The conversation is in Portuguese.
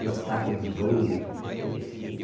Uma estátua de bronze, qualquer coisa assim.